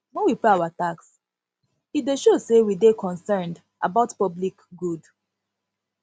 when we pay our tax e dey show sey we dey concerned about public good